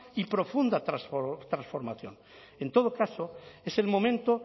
y profunda transformación en todo caso es el momento